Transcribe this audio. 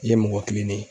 I ye mɔgɔ kilennen ye